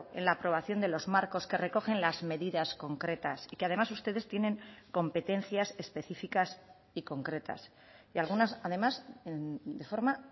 en la aprobación de los marcos que recogen las medidas concretas y que además ustedes tienen competencias específicas y concretas y algunas además de forma